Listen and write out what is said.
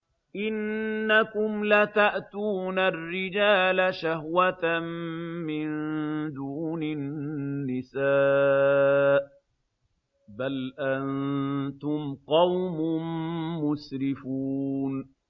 إِنَّكُمْ لَتَأْتُونَ الرِّجَالَ شَهْوَةً مِّن دُونِ النِّسَاءِ ۚ بَلْ أَنتُمْ قَوْمٌ مُّسْرِفُونَ